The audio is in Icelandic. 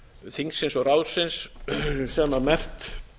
þingsins og ráðsins sem merkt